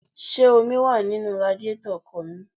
Ṣé omi wá nínú radíetọ̀ ọkọ̀ mi?